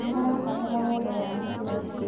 Nĩarabatara wendo wa mũciari